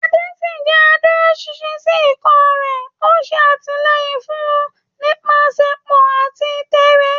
Ade ṣì jẹ́ adúróṣinṣin sí ikọ̀ rẹ̀, ó ń ṣe àtìlẹ́yìn fún wọn nípasẹ̀pọn àti tẹ́ẹ́rẹ́.